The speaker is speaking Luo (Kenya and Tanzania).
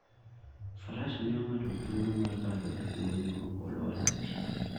Faras miyo ng'ato thuolo mar kalo e kwoyo maok olwar e pi.